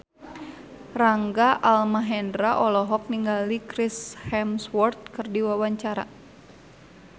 Rangga Almahendra olohok ningali Chris Hemsworth keur diwawancara